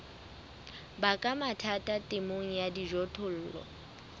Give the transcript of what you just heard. baka mathata temong ya dijothollo